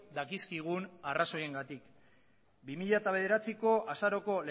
dakizkigun arrazoiengatik bi mila bederatziko azaroko